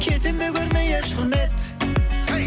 кетемін бе көрмей еш құрмет